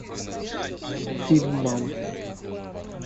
фильм мамы